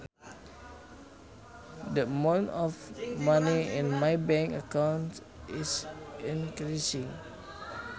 The amount of money in my bank account is increasing